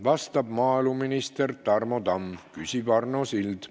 Vastab maaeluminister Tarmo Tamm, küsib Arno Sild.